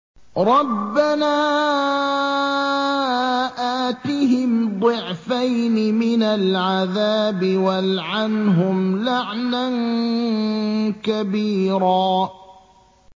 رَبَّنَا آتِهِمْ ضِعْفَيْنِ مِنَ الْعَذَابِ وَالْعَنْهُمْ لَعْنًا كَبِيرًا